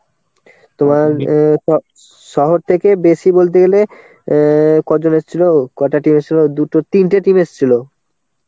তোমার অ্যাঁ শহর থেকে বেশি বলতে গেলে অ্যাঁ কজন এসছিল? কটা team এসছিল? দুটো, তিনটে team এসছিল